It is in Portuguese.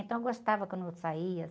Então, eu gostava quando eu saía.